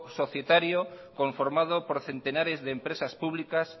societario conformado por centenares de empresa públicas